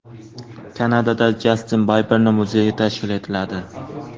Kanadada Jastin Biberning muzeyi tashkil etiladi.